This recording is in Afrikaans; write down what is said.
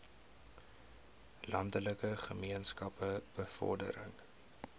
landelike gemeenskappe bevordering